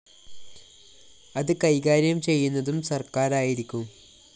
അത് കൈകാര്യം ചെയ്യുന്നതും സര്‍ക്കാരായിരിക്കും